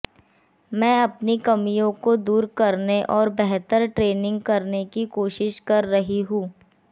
मैं अपनी कमियों को दूर करने और बेहतर ट्रेनिंग करने की कोशिश कर रही हूं